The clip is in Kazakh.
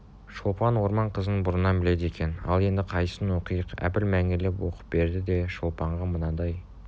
шолпан орман қызынбұрыннан біледі екен ал енді қайсысын оқиық әбіл мәнерлеп оқып берді де шолпанға мынадай